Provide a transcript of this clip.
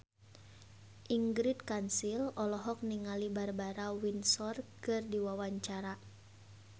Ingrid Kansil olohok ningali Barbara Windsor keur diwawancara